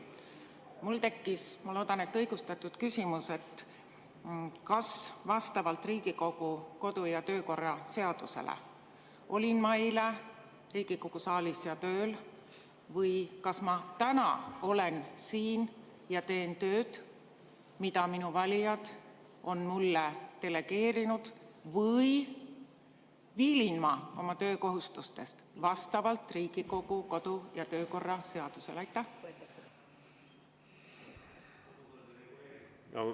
Mul tekkis, ma loodan, et õigustatud küsimus, kas vastavalt Riigikogu kodu‑ ja töökorra seadusele olin ma eile Riigikogu saalis ja tööl või kas ma täna olen siin ja teen tööd, nagu minu valijad on mulle delegeerinud, või vastavalt Riigikogu kodu‑ ja töökorra seadusele viilin ma oma töökohustustest.